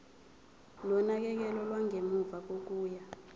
nonakekelo lwangemuva kokuya